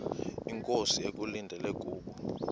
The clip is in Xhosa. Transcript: inkosi ekulindele kubo